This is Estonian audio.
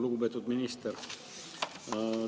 Lugupeetud minister!